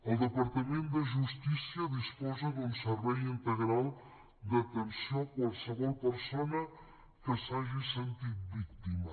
el departament de justícia disposa d’un servei integral d’atenció a qualsevol persona que s’hagi sentit víctima